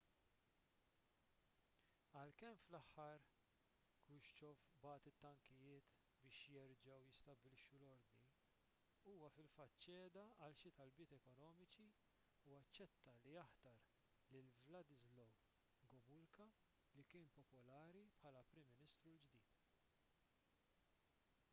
għalkemm fl-aħħar krushchev bagħat it-tankijiet biex jerġgħu jistabbilixxu l-ordni huwa fil-fatt ċeda għal xi talbiet ekonomiċi u aċċetta li jaħtar lil wladyslaw gomulka li kien popolari bħala l-prim ministru l-ġdid